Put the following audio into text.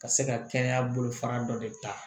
Ka se ka kɛnɛya bolo fara dɔ de ta